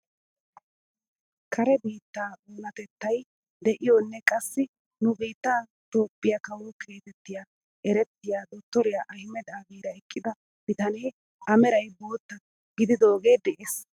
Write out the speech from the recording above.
Kare biittaa oonatettay de'iyoonne qassi nu biittaa itoophphiyaa kawo getetti erettiyaa dottoriyaa ahimeda aabira eqqida bitanee a meray bootta gididoogee de'ees.